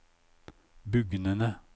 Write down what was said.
bugnende